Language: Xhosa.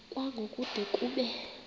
kwango kude kube